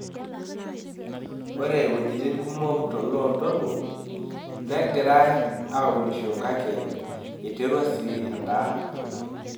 Ore wuejitin kumok to loo ntoluo , negiarai aunisho kakek eiterua sii endaa abulu.